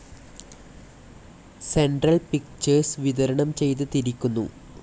Central Pictures വിതരണം ചെയ്തിരിക്കുന്നു.